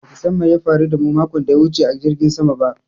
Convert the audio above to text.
Ba ki san me ya faru da mu makon daya wuce a jirgin saman ba